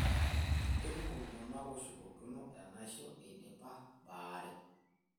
Keikumok iltung'ana ooshukokino enaisho eidipa baare.